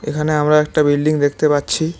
এখানে আমরা একটা বিল্ডিং দেখতে পাচ্ছি।